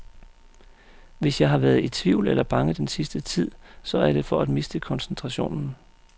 Hvis jeg har været i tvivl eller bange den sidste tid, så er det for at miste koncentrationen.